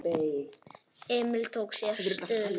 Emil tók sér stöðu.